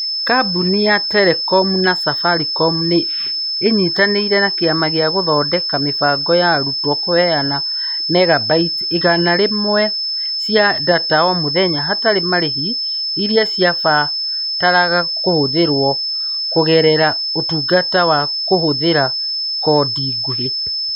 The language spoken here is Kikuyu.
Kambuni ya Telecom ya Safaricom nĩ ĩnyitanĩire na Kĩama gĩa gũthondeka mĩbango ya arutwo kũheana megabytes igana rĩmwe cia data o mũthenya hatarĩ marĩhi, iria ciabataraga kũhũthĩrwo kũgerera Ũtungata wa kũhũthĩra koode nguhĩ.